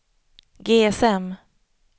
GSM